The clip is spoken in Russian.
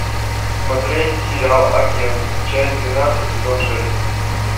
смотреть сериал агент часть двенадцать сезон шесть